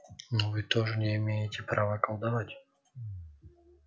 но вы тоже не имеете права колдовать